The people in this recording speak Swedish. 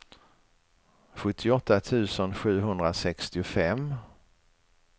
sjuttioåtta tusen sjuhundrasextiofem